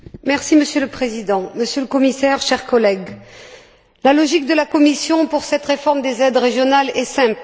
Monsieur le Président, Monsieur le Commissaire, chers collègues, la logique de la Commission pour cette réforme des aides régionales est simple.